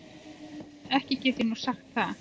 Ekki get ég nú sagt það.